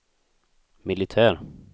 militär